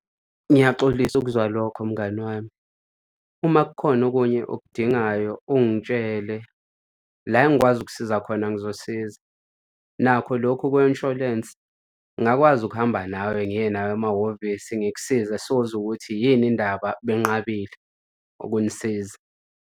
Ngiyaxolisa ukuzwa lokho, mngani wami. Uma kukhona okunye okudingayo, ungitshele la engikwazi ukusiza khona ngizosiza, nakho lokho kwe-insurance ngakwazi ukuhamba nawe ngiye nawe amahhovisi ngikusiza sozwa ukuthi yini indaba benqabile ukunisiza.